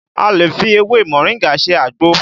A lè fi ewé moringa ṣe àgbo